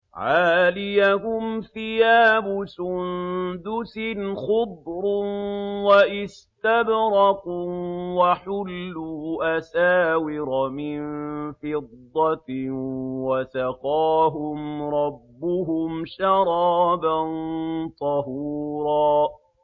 عَالِيَهُمْ ثِيَابُ سُندُسٍ خُضْرٌ وَإِسْتَبْرَقٌ ۖ وَحُلُّوا أَسَاوِرَ مِن فِضَّةٍ وَسَقَاهُمْ رَبُّهُمْ شَرَابًا طَهُورًا